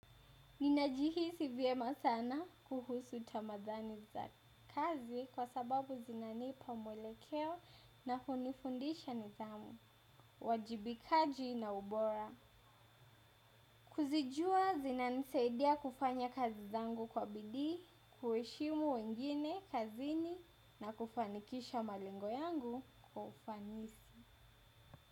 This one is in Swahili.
Ninajihisi vyema sana kuhusu tamadhani za kazi kwa sababu zinanipa mwelekeo na kunifundisha nidhamu, uwajibikaji na ubora. Kuzijua zinanisaidia kufanya kazi zangu kwa bidii, kuheshimu wengine kazini na kufanikisha malingo yangu kufanisi.